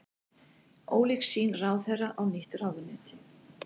Ólík sýn ráðherra á nýtt ráðuneyti